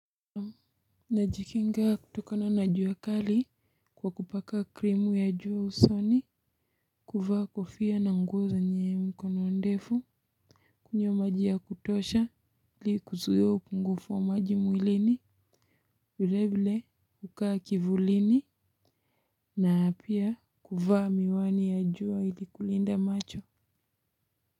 Najikinga kutokana na jua kali kwa kupaka krimu ya juu usoni. Kuvaa kofia na nguo zenye mkono ndefu kunywa maji ya kutosha ili kuzuia upungufu wa maji mwilini vile vile hukaa kivulini na pia kuvaa miwani ya jua ili kulinda macho.